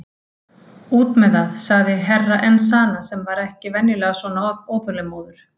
Út með þeð, sagði Herra Enzana sem var venjulega ekki svona óþolinmóður.